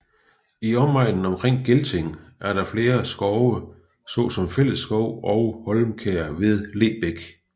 I omegnen omkring Gelting er der flere skove såsom Fællesskov og Holmkær ved Lebæk